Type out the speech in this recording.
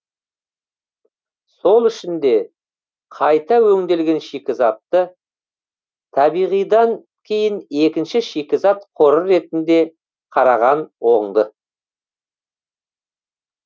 сол үшін де қайта өңделген шикізатты табиғидан кейін екінші шикізат қоры ретінде қараған оңды